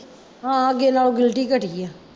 ਹਾਂ ਅੱਗੇ ਨਾਲੋਂ ਗਿਲਟੀ ਘਟੀ ਆ